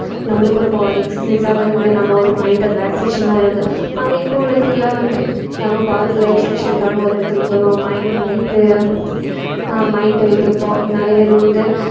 நம்மளுக்கு ஒரு body relief அ இருந்து நம்ம ஒரு mind relaxation ஆ இருந்து ஆனா இப்ப உள்ளதைலாம் வந்து நம்ம body relaxation ஆக ஒரு இடத்துக்கு போவோம் mind அந்த இது அஹ் mind உ இது bod~ நிறைய பேர் வந்து